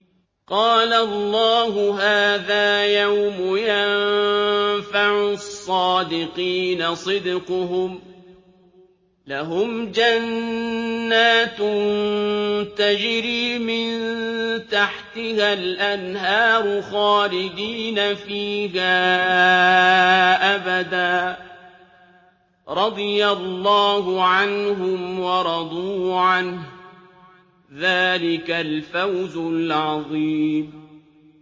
قَالَ اللَّهُ هَٰذَا يَوْمُ يَنفَعُ الصَّادِقِينَ صِدْقُهُمْ ۚ لَهُمْ جَنَّاتٌ تَجْرِي مِن تَحْتِهَا الْأَنْهَارُ خَالِدِينَ فِيهَا أَبَدًا ۚ رَّضِيَ اللَّهُ عَنْهُمْ وَرَضُوا عَنْهُ ۚ ذَٰلِكَ الْفَوْزُ الْعَظِيمُ